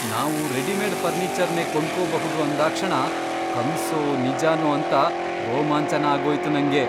ನಾವು ರೆಡಿಮೇಡ್ ಫರ್ನೀಚರ್ನೇ ಕೊಂಡ್ಕೊಬಹುದು ಅಂದಾಕ್ಷಣ ಕನ್ಸೋ ನಿಜಾನೋ ಅಂತ ರೋಮಾಂಚನ ಆಗೋಯ್ತು ನಂಗೆ!